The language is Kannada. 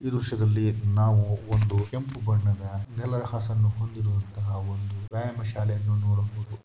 ಈ ದೃಶ್ಯದಲ್ಲಿ ನಾವು ಒಂದು ಕೆಂಪು ಬಣ್ಣದ ನೆಲಹಾಸನ್ನು ಹೊಂದಿರುವಂತಹ ಒಂದು ವ್ಯಾಯಾಮ ಶಾಲೆಯನ್ನು ನೋಡಬಹುದು.